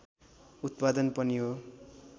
उत्पादन पनि हो